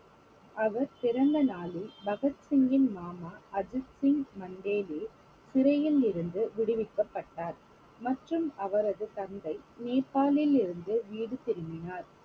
அவர் பிறந்த நாளில் பகத் சிங்கின் மாமா அஜித் சிங் மண்டேலே சிறையில் இருந்து விடுவிக்கப்பட்டார் மற்றும் அவரது தந்தை நேபாளிலிருந்து வீடு திரும்பினார்